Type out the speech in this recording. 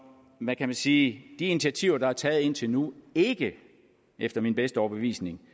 hvad kan man sige de initiativer der er taget indtil nu ikke efter min bedste overbevisning